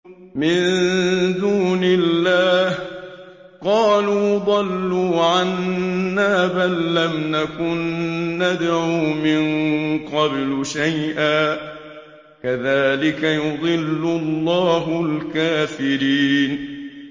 مِن دُونِ اللَّهِ ۖ قَالُوا ضَلُّوا عَنَّا بَل لَّمْ نَكُن نَّدْعُو مِن قَبْلُ شَيْئًا ۚ كَذَٰلِكَ يُضِلُّ اللَّهُ الْكَافِرِينَ